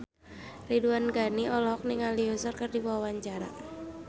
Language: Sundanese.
Ridwan Ghani olohok ningali Usher keur diwawancara